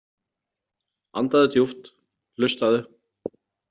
Andaðu djúpt, hlustaðu.